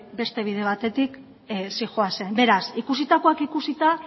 beste bide batetik zihoazen beraz ikusitakoak ikusita